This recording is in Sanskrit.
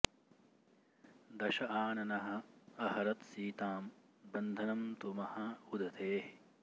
दश आननः अहरत् सीतां बन्धनं तु महा उदधेः